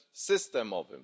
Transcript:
systemowym.